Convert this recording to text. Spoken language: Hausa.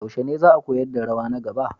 Yaushe ne za a koyar da rawa na gaba?